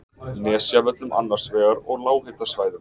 Nesjavöllum annars vegar og lághitasvæðum